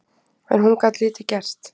En hún gat lítið gert